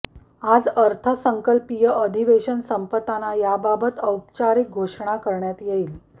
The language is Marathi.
आज अर्थसंकल्पीय अधिवेशन संपताना याबाबत औपचारिक घोषणा करण्यात येईल